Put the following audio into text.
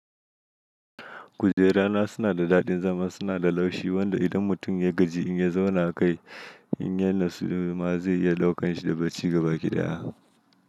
Kujera na suna da daɗin zama, suna da laushi wanda idan mutum ya gaji in ya zauna kai in ya yi nasu ma zai iya daukan shi da bacci gabaki ɗaya.